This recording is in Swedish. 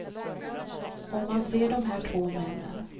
Om man ser de här två männen.